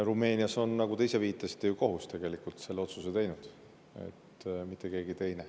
Rumeenias on, nagu te ise viitasite, kohus, mitte keegi teine, tegelikult selle otsuse teinud.